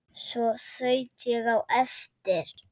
Svo þaut ég á eftir